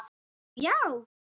Nú, já.